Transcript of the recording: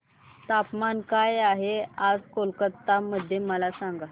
तापमान काय आहे आज कोलकाता मध्ये मला सांगा